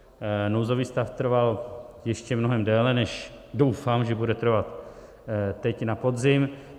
Nouzový stav trval ještě mnohem déle, než doufám, že bude trvat teď na podzim.